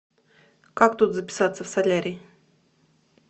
как тут записаться в солярий